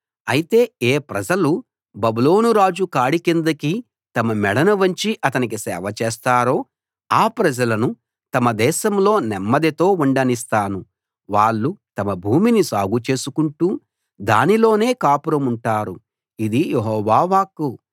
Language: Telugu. అయితే ఏ ప్రజలు బబులోను రాజు కాడి కిందికి తమ మెడను వంచి అతనికి సేవ చేస్తారో ఆ ప్రజలను తమ దేశంలో నెమ్మదితో ఉండనిస్తాను వాళ్ళు తమ భూమిని సాగుచేసుకుంటూ దానిలోనే కాపురముంటారు ఇది యెహోవా వాక్కు